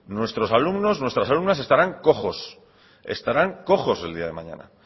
nuestros alumnos nuestras alumnas estarán cojos estarán cojos el día de mañana